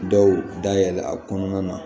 Dɔw dayɛlɛ a kɔnɔna na